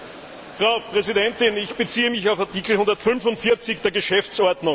Frau Präsidentin! Ich beziehe mich auf Artikel 145 der Geschäftsordnung.